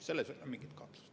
Selles ei ole mingit kahtlust.